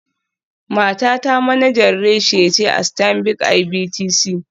Matata manajan reshe ce a Stanbic IBTC.